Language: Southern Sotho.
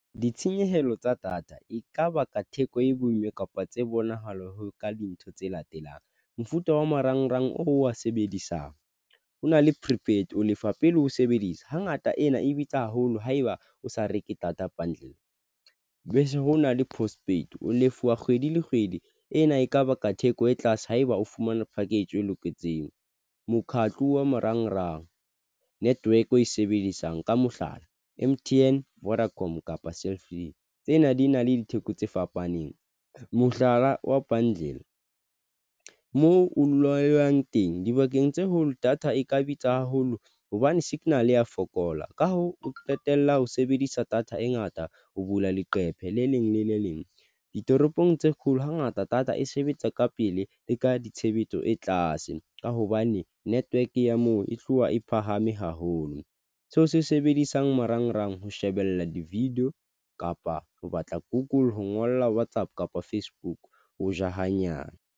Ditshenyehelo tsa data e kaba ka theko e boima kapa tse bonahala ka dintho tse latelang mofuta wa marangrang o wa sebedisang. Ho na le prepaid o lefa pele o sebedisa hangata ena e bitsa haholo haeba o sa reke data bundle bese. Ho na le Prospect, o lefuwa kgwedi le kgwedi ena. Ekaba ka theko e tlase ha eba o fumana package e loketseng mokgatlo wa marangrang network o e sebedisang ka mohlala M_T_N, Vodacom kapa Cell C. Tsena di na le ditheko tse fapaneng mohlala wa pandile moo o loyang teng dibakeng tse hole data, e ka bitsa haholo hobane signal ya fokola, ka hoo, o qetella ho sebedisa data e ngata ho bula leqephe le leng le le leng ditoropong tse kgolo. Hangata data e sebetsa ka pele le ka ditshebetso e tlase ka hobane network ya moo e tloha e phahame haholo seo se sebedisang marangrang ho shebella di-video kapa ho batla google, ho ngolla WhatsApp kapa Facebook. Ho ja hanyane.